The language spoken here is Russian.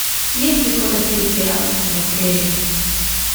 есть ли фотосессия в отеле